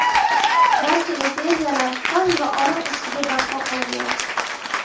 Barcha imperiyalar qon va olov ustiga barpo qilingan.